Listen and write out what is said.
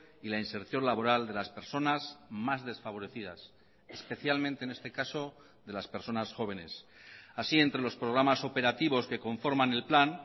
y la inserción laboral de las personas más desfavorecidas especialmente en este caso de las personas jóvenes así entre los programas operativos que conforman el plan